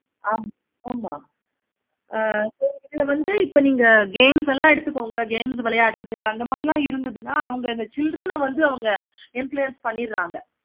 ஆமா ஆமா ஆஹ் ithula vanthu neenga games எல்லாம் எடுத்துக்கோங்க games விளையாடுறது அந்த மாதிரி லாம் இருந்ததுனா நா அவங்க children ஆஹ் வந்து influence பண்ணிடுறாங்க